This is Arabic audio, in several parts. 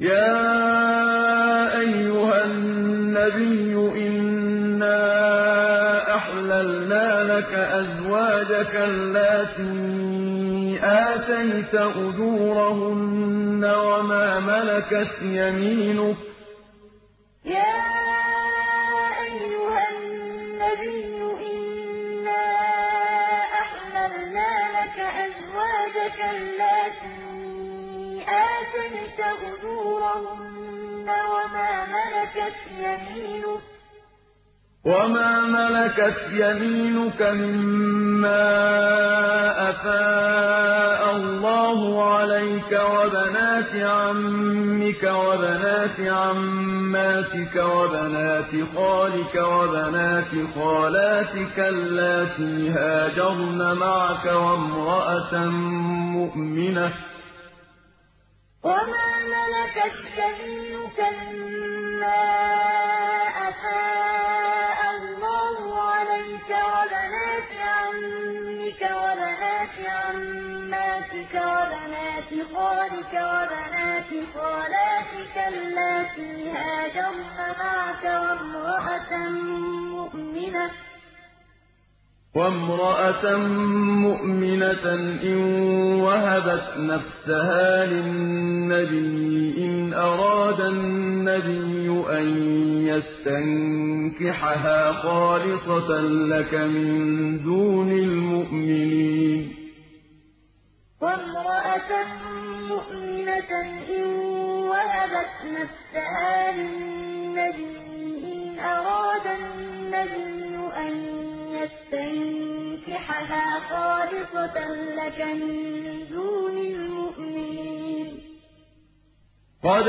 يَا أَيُّهَا النَّبِيُّ إِنَّا أَحْلَلْنَا لَكَ أَزْوَاجَكَ اللَّاتِي آتَيْتَ أُجُورَهُنَّ وَمَا مَلَكَتْ يَمِينُكَ مِمَّا أَفَاءَ اللَّهُ عَلَيْكَ وَبَنَاتِ عَمِّكَ وَبَنَاتِ عَمَّاتِكَ وَبَنَاتِ خَالِكَ وَبَنَاتِ خَالَاتِكَ اللَّاتِي هَاجَرْنَ مَعَكَ وَامْرَأَةً مُّؤْمِنَةً إِن وَهَبَتْ نَفْسَهَا لِلنَّبِيِّ إِنْ أَرَادَ النَّبِيُّ أَن يَسْتَنكِحَهَا خَالِصَةً لَّكَ مِن دُونِ الْمُؤْمِنِينَ ۗ قَدْ عَلِمْنَا مَا فَرَضْنَا عَلَيْهِمْ فِي أَزْوَاجِهِمْ وَمَا مَلَكَتْ أَيْمَانُهُمْ لِكَيْلَا يَكُونَ عَلَيْكَ حَرَجٌ ۗ وَكَانَ اللَّهُ غَفُورًا رَّحِيمًا يَا أَيُّهَا النَّبِيُّ إِنَّا أَحْلَلْنَا لَكَ أَزْوَاجَكَ اللَّاتِي آتَيْتَ أُجُورَهُنَّ وَمَا مَلَكَتْ يَمِينُكَ مِمَّا أَفَاءَ اللَّهُ عَلَيْكَ وَبَنَاتِ عَمِّكَ وَبَنَاتِ عَمَّاتِكَ وَبَنَاتِ خَالِكَ وَبَنَاتِ خَالَاتِكَ اللَّاتِي هَاجَرْنَ مَعَكَ وَامْرَأَةً مُّؤْمِنَةً إِن وَهَبَتْ نَفْسَهَا لِلنَّبِيِّ إِنْ أَرَادَ النَّبِيُّ أَن يَسْتَنكِحَهَا خَالِصَةً لَّكَ مِن دُونِ الْمُؤْمِنِينَ ۗ قَدْ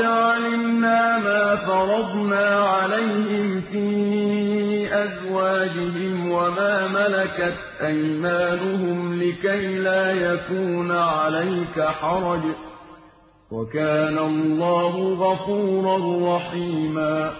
عَلِمْنَا مَا فَرَضْنَا عَلَيْهِمْ فِي أَزْوَاجِهِمْ وَمَا مَلَكَتْ أَيْمَانُهُمْ لِكَيْلَا يَكُونَ عَلَيْكَ حَرَجٌ ۗ وَكَانَ اللَّهُ غَفُورًا رَّحِيمًا